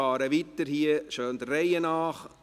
Ich fahre jetzt weiter, schön der Reihe nach.